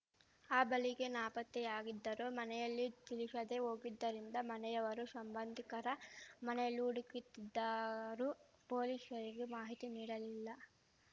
ಆ ಬಳಿಕ ನಾಪತ್ತೆಯಾಗಿದ್ದರು ಮನೆಯಲ್ಲಿ ತಿಳಿಶದೆ ಹೋಗಿದ್ದರಿಂದ ಮನೆಯವರೂ ಶಂಬಂಧಿಕರ ಮನೆಯಲ್ಲಿ ಹುಡುಕಿತ್ತಿದ್ದಾರೂ ಪೊಲೀಶರಿಗೆ ಮಾಹಿತಿ ನೀಡಿರಲಿಲ್ಲ